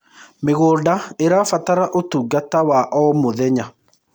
mĩgũnda irabatara utungata wa o mũthenya